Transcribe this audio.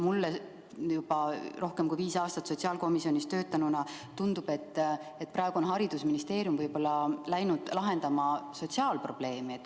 Mulle juba rohkem kui viis aastat sotsiaalkomisjonis töötanuna tundub, et haridusministeerium on võib-olla läinud lahendama sotsiaalprobleemi.